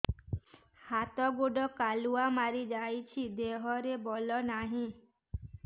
ହାତ ଗୋଡ଼ କାଲୁଆ ମାରି ଯାଉଛି ଦେହରେ ବଳ ନାହିଁ